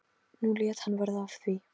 Nú lét hann verða af því.